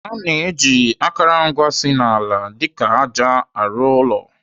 Ana eji akụrụngwa si n'ala dịka àjà arụ ụlọ.